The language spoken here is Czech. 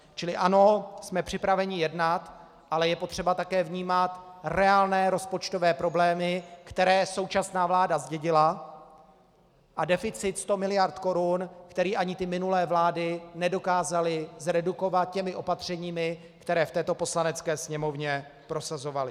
Čili ano, jsme připraveni jednat, ale je potřeba také vnímat reálné rozpočtové problémy, které současná vláda zdědila, a deficit 100 mld. korun, který ani ty minulé vlády nedokázaly zredukovat těmi opatřeními, která v této Poslanecké sněmovně prosazovaly.